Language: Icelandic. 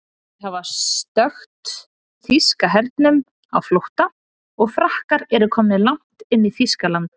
Þeir hafa stökkt þýska hernum á flótta og Frakkar eru komnir langt inn í Þýskaland.